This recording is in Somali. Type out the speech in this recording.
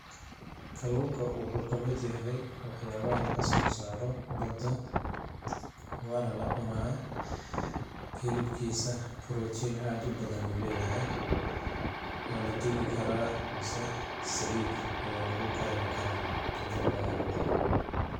Kaluunka waxuu kamid yahay wax yaabaha lagasoo saaro badda ,waana la cunaa ,hilibkiisa protein aad u badan uu lee yahay ,waa la dubi karaa mase saliid ayaa lagu karini karaa ,kadib ayaa la cunaa.